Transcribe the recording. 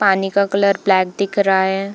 पानी का colour black दिख रहा है।